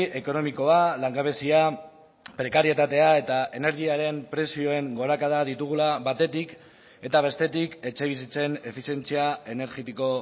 ekonomikoa langabezia prekarietatea eta energiaren prezioen gorakada ditugula batetik eta bestetik etxebizitzen efizientzia energetiko